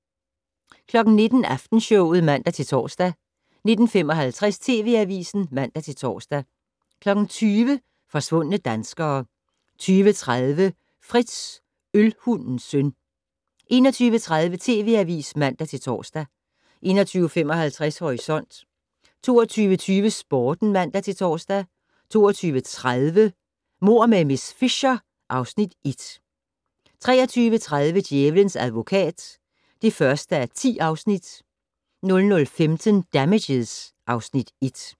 19:00: Aftenshowet (man-tor) 19:55: TV Avisen (man-tor) 20:00: Forsvundne danskere 20:30: Frits - Ølhundens søn 21:30: TV Avisen (man-tor) 21:55: Horisont 22:20: Sporten (man-tor) 22:30: Mord med miss Fisher (Afs. 1) 23:30: Djævelens advokat (1:10) 00:15: Damages (Afs. 1)